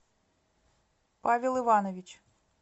павел иванович